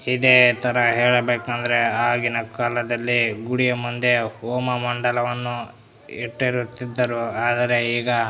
ಇದೆ ತರ ಹೇಳಬೇಕಂದ್ರೆ ಆಗಿನ ಕಾಲದಲ್ಲಿ ಗುಡಿ ಮುಂದೆ ಹೋಮ ಮಂಡಲವನ್ನು ಇಟ್ಟಿರುತ್ತಿದ್ದರು ಆದರೆ ಈಗ --